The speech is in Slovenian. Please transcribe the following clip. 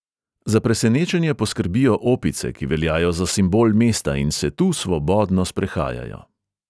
Za presenečenje poskrbijo opice, ki veljajo za simbol mesta in se tu svobodno sprehajajo.